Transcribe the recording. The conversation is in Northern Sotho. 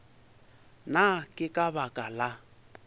na ke ka baka la